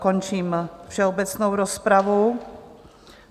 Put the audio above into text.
Končím všeobecnou rozpravu.